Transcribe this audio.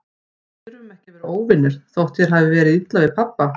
Við þurfum ekki að vera óvinir, þótt þér hafi verið illa við pabba.